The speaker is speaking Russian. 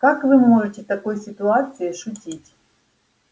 как вы можете в такой ситуации шутить